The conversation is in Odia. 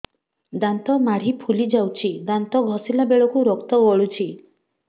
ଦାନ୍ତ ମାଢ଼ୀ ଫୁଲି ଯାଉଛି ଦାନ୍ତ ଘଷିଲା ବେଳକୁ ରକ୍ତ ଗଳୁଛି